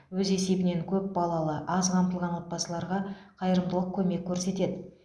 өз есебінен көп балалы аз қамтылған отбасыларға қайырымдылық көмек көрсетеді